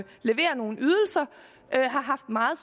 levere nogle ydelser har haft meget